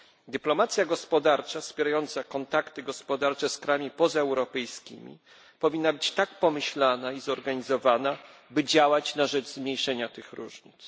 Dyplomacja gospodarcza wspierająca kontakty gospodarcze z krajami pozaeuropejskimi powinna być tak pomyślana i zorganizowana, by działać na rzecz zmniejszenia tych różnic.